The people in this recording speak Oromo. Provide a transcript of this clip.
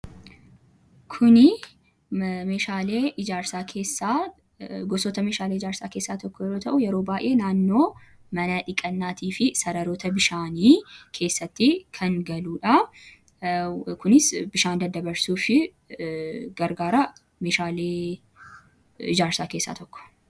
Kunii meeshalee ijaarsaa gosoota meeshaalee ijaarsa keessaa tokko yeroo ta'u, yeroo baayyee naannoo mana dhiqannaati fi sararoota bishaanii keessatti kan galudha. Kunis bishaan daddabarsuufi gargaara. Meeshaalee ijaarsaa keessaa tokko.